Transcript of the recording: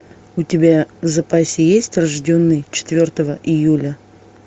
у тебя в запасе есть рожденный четвертого июля